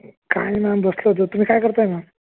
काय मॅम बसलो होतो तुम्ही काय करताय मॅम?